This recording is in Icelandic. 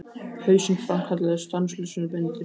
Hausinn framkallaði stanslausar myndir.